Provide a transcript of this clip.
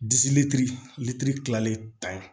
litiri kilalen ta